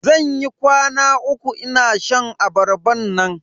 Zan yi kwana uku ina shan abarban nan.